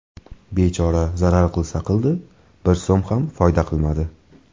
Bechora zarar qilsa qildi , bir so‘m ham foyda qilmadi.